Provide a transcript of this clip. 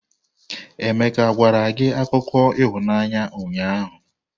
Emeka gwara gị akụkọ ịhụnanya ụnyahụ?